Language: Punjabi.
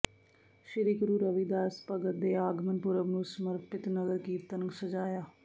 ਸ੍ਰੀ ਗੁਰੂ ਰਵਿਦਾਸ ਭਗਤ ਦੇ ਆਗਮਨ ਪੁਰਬ ਨੂੰ ਸਮਰਪਿਤ ਨਗਰ ਕੀਰਤਨ ਸਜਾਇਆ